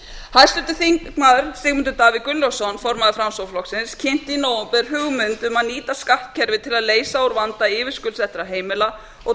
hæstvirtur þingmaður sigmundur davíð gunnlaugsson formaður framsóknarflokksins kynnti í nóvember hugmynd hvað nýta skattkerfið til að leysa úr vanda yfirskuldsettra heimila og